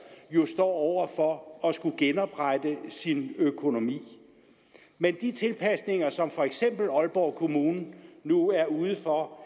jo står over for at skulle genoprette sin økonomi men de tilpasninger som for eksempel aalborg kommune nu er ude for